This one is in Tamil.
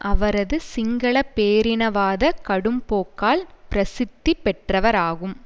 அவரது சிங்கள பேரினவாத கடும்போக்கால் பிரசித்தி பெற்றவராகும்